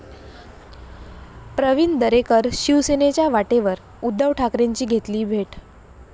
प्रवीण दरेकर शिवसेनेच्या वाटेवर? उद्धव ठाकरेंची घेतली भेट